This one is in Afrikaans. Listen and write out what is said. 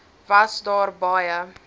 was daar baie